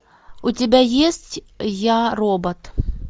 у тебя есть я робот